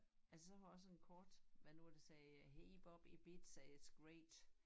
Altså så har jeg også en kort med nogen der siger hey Bob Ibiza it's great